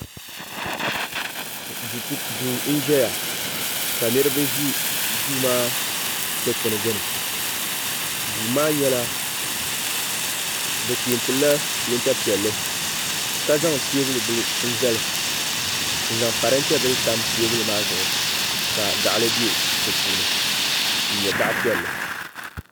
do n ʒɛya ka niriba ʒɛ so maa dikpɛni gbani so maa nyɛla be pɛntila pɛnta piɛli ka zaŋ tɛbuli bila zali n zaŋ karintɛ bila tam tɛbuli maa zuɣ' ka gali bɛ di puuni n nyɛ gali piɛli